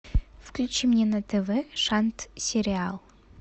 включи мне на тв шант сериал